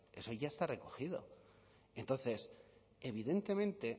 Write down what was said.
eso ya está recogido entonces evidentemente